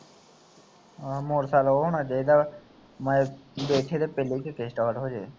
ਹਾਂ ਮੋਟਰਸਾਈਕਲ ਉਹ ਹੋਣਾ ਚਾਹੀਦਾ ਦੇਖੇ ਤੇ ਪਹਿਲੀ ਕਿੱਕ ਤੇ ਸਟਾਰਟ ਹੋ ਜਾਵੇ